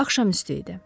Axşam üstü idi.